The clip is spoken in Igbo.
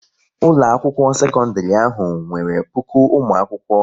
Ụlọakwụkwọ sekọndịrị ahụ nwere puku ụmụakwụkwọ